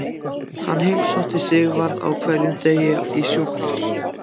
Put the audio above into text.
Hann heimsótti Sigvarð á hverjum degi í sjúkrahús.